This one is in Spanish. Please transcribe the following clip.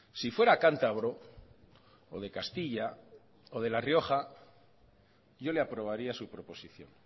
si fuera cántabro o de castilla o de la rioja yo le aprobaría su proposición